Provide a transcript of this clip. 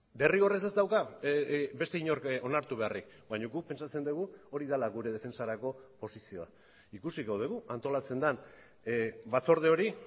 derrigorrez ez dauka beste inork onartu beharrik baina guk pentsatzen dugu hori dela gure defentsarako posizioa ikusiko dugu antolatzen den batzorde hori